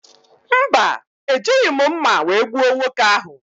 Mba, Ejighị m mma wee gbuo nwoke ahụ.